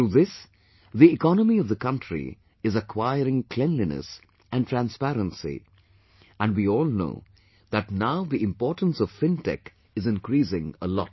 Through this the economy of the country is acquiring cleanliness and transparency, and we all know that now the importance of fintech is increasing a lot